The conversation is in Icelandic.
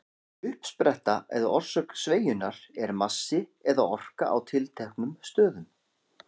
Uppspretta eða orsök sveigjunnar er massi eða orka á tilteknum stöðum.